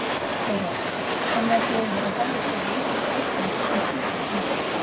Þóra: Þannig að þú hefur verið hafður fyrir rangri sök í einhverjum tilfellum?